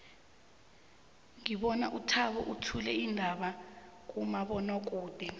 ngibona uthabo uthula iindaba kumabonwakude